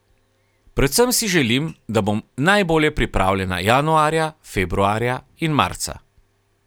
Predvsem si želim, da bom najbolje pripravljena januarja, februarja in marca.